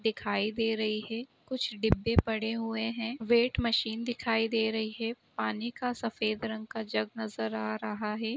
दिखाई दे रही है। कुछ डिब्बे पड़े हुए हैं। वेट मशीन दिखाई दे रही है। पानी का सफेद रंग का जग नजर आ रहा है।